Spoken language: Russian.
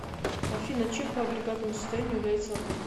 афина чем по агрегатному состоянию является огонь